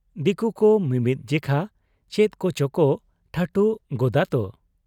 ᱫᱤᱠᱩᱠᱩ ᱢᱤᱢᱤᱫ ᱡᱮᱠᱷᱟ ᱪᱮᱫ ᱠᱚᱪᱚᱠᱚ ᱴᱷᱟᱴᱷᱩ ᱜᱚᱫᱟᱛᱚ ᱾